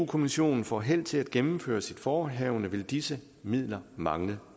kommissionen får held til at gennemføre sit forehavende vil disse midler mangle